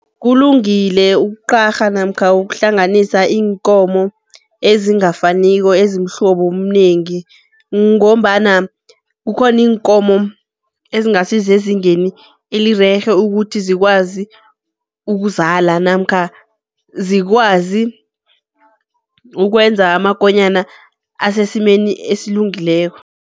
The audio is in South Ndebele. Kulungile ukuqarha namkha ukuhlanganisa iinkomo ezingafaniko, ezimihlobo omunengi. Ngombana kukhona iinkomo ezingasisezingeni elirerhe ukuthi zikwazi ukuzala, namkha zikwazi ukwenza amakonyana asesimeni esilungileko.